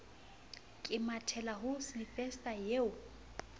ke mathela ho sylvester eo